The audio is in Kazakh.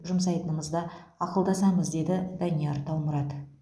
жұмсайтынымызды ақылдасамыз деді данияр таумұрат